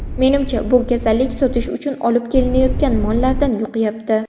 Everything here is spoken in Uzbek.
Menimcha, bu kasallik sotish uchun olib kelinayotgan mollardan yuqyapti.